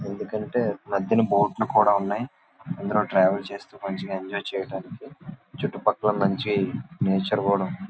ఎందుకు అంటే మద్యన బోట్స్ కూడా ఉన్నాయి. ఇందులో ట్రావెల్ చేస్తూ మంచిగా ఎంజాయ్ చెయ్యడానికి చుట్టు పక్కలా మంచి నేచర్ కూడా ఉంది.